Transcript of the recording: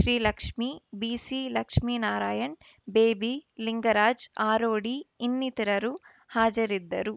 Srilakshmi Bisilakshminarayan Baby Lingaraj Arodi ಇನ್ನಿತರರು ಹಾಜರಿದ್ದರು